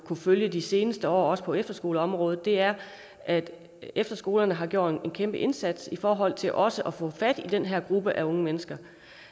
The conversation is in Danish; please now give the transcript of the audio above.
følge de seneste år også på efterskoleområdet er at efterskolerne har gjort en kæmpe indsats i forhold til også at få fat i den her gruppe af unge mennesker